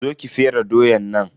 Zo ki fere doyan nan.